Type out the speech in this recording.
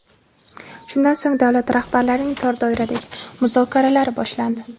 Shundan so‘ng davlat rahbarlarining tor doiradagi muzokaralari boshlandi.